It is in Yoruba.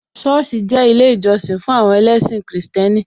Sọ́ọ̀sì jẹ́ ilé ìjọsìn fún àwọn ẹlẹ́sìn Kristẹni